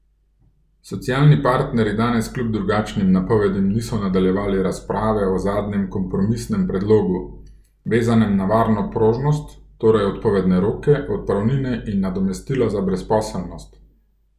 Socialni partnerji danes kljub drugačnim napovedim niso nadaljevali razprave o zadnjem kompromisnem predlogu, vezanem na varno prožnost, torej odpovedne roke, odpravnine in nadomestila za brezposelnost.